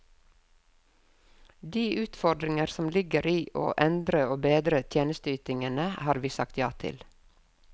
De utfordringer som ligger i å endre og bedre tjenesteytinger har vi sagt ja til.